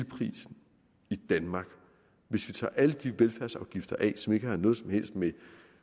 i danmark hvis vi tager alle de velfærdsafgifter af som ikke har noget som helst med